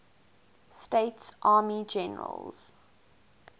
states army generals